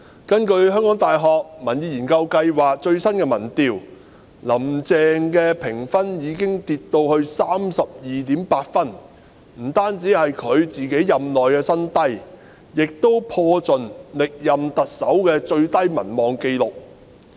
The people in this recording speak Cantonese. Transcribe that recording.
根據香港大學民意研究計劃的最新民調，"林鄭"評分已經下跌至 32.8 分，不僅是她任內新低，也破盡歷任特首民望最低的紀錄。